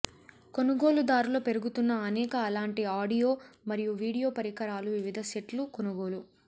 కొనుగోలుదారుల పెరుగుతున్న అనేక అలాంటి ఆడియో మరియు వీడియో పరికరాలు వివిధ సెట్లు కొనుగోలు